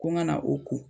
Ko ŋa na o ko